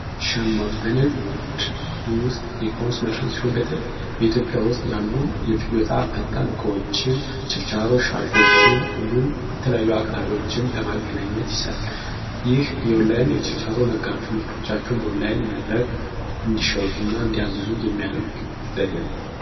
ሸማች በንግድ ውስጥ በኢትዮጵያ ውስጥ ያሉ በጣም ፈጣን እቃዎችን ችርቻሮ እንዲሁም የተለያዩ አቅራቢዎች ለማገናኘት ይሠራል የኦንላይን የችርቻሮ መድረክ ሲሆን ምርቶቻቸውን በኦንላይን መድረክ እንዲሸጡ እና እንዲያዙ የሚያደርግ ዘዴ ነው።